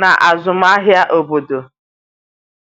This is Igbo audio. n'azụmahịa obodo.